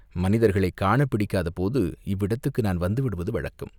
மனிதர்களைக் காணப்பிடிக்காத போது இவ்விடத்துக்கு நான் வந்துவிடுவது வழக்கம்.